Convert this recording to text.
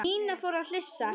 Nína fór að flissa.